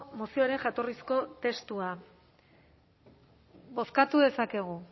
mozioaren jatorrizko testua bozkatu dezakegu